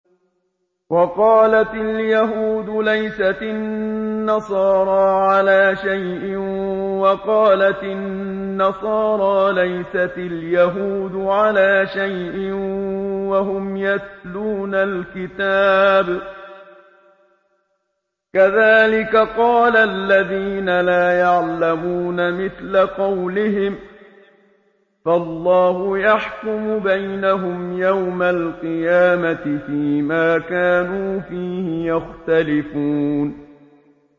وَقَالَتِ الْيَهُودُ لَيْسَتِ النَّصَارَىٰ عَلَىٰ شَيْءٍ وَقَالَتِ النَّصَارَىٰ لَيْسَتِ الْيَهُودُ عَلَىٰ شَيْءٍ وَهُمْ يَتْلُونَ الْكِتَابَ ۗ كَذَٰلِكَ قَالَ الَّذِينَ لَا يَعْلَمُونَ مِثْلَ قَوْلِهِمْ ۚ فَاللَّهُ يَحْكُمُ بَيْنَهُمْ يَوْمَ الْقِيَامَةِ فِيمَا كَانُوا فِيهِ يَخْتَلِفُونَ